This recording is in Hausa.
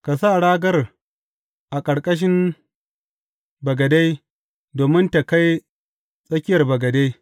Ka sa ragar a ƙarƙashin bagade domin tă kai tsakiyar bagade.